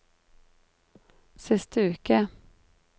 siste uke